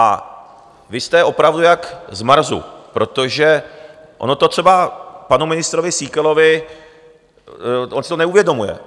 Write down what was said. A vy jste opravdu jak z Marsu, protože ono to třeba panu ministrovi Síkelovi - on si to neuvědomuje.